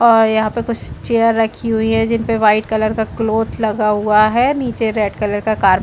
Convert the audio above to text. और यहाँ पे कुछ चेयर रखी हुई है जिन पे वाइट कलर का क्लोथ लगा हुआ है नीचे रेड कलर का कार --